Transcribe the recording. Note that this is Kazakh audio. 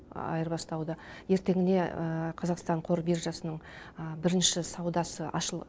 айырбастауды ертеңіне қазақстан қор биржасының бірінші саудасы ашылып